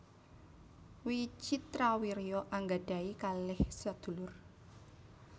Wicitrawirya anggadhahi kalih sadulur